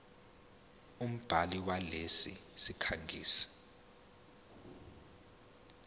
umbhali walesi sikhangisi